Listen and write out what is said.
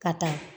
Ka taa